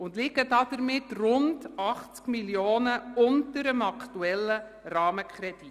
Damit liegen wir rund 80 Mio. Franken unter dem aktuellen Rahmenkredit.